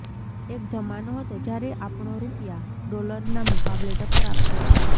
એક જમાનો હતો જ્યારે આપણો રૂપિયા ડોલરના મુકાબલે ટક્કર આપતો હતો